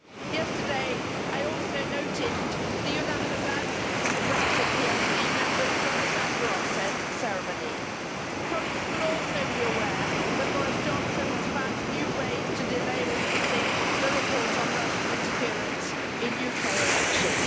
Yesterday, I also noted the unanimous absence of the Brexit plc members from the Sakharov ceremony. Colleagues will also be aware that Boris Johnson has found new ways to delay releasing the report on Russian interference in UK elections.